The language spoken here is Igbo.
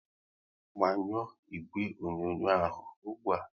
Gbanyuo ìgwè onyonyo ahụ ụgbụa!